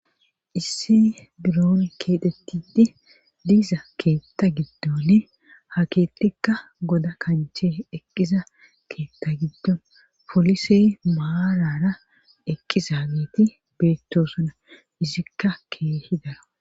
isse biron keetettidi diza keetta giddonne ha keettikka goda kanchee eqqiza keetta giddon polisey maarara eqqiza geeti beettosana izikka keehi dara